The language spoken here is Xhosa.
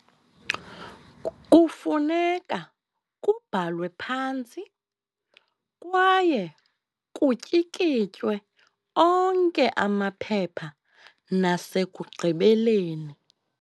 Kufuneka kubhalwe phantsi, kwaye kutyikitywe onke amaphepha nasekugqibeleni.